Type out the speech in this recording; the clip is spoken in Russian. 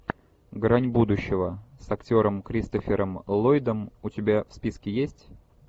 грань будущего с актером кристофером ллойдом у тебя в списке есть